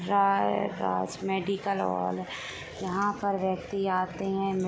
राइ Raj medical hall यहा पर व्यक्ति आते हैं।